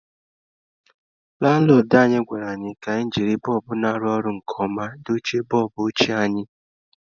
Lanlọdụ anyị gwara anyị ka anyị jiri bọlbụ na-arụ ọrụ nke ọma dochie bọlbụ ochie anyị.